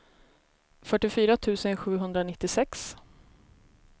fyrtiofyra tusen sjuhundranittiosex